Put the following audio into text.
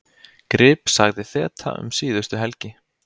Grip sagði þeta um síðustu helgi: